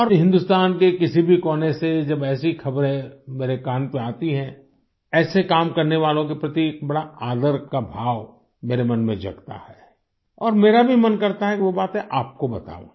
और हिंदुस्तान के किसी भी कोने से जब ऐसी खबरें मेरे कान पे आती हैं तो ऐसे काम करने वालों के प्रति एक बड़ा आदर का भाव मेरे मन में जागता है और मेरा भी मन करता है कि वो बातें आपको बताऊँ